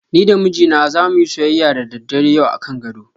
Ni da mijina zamu yi soyyaya da daddare yau akan gado.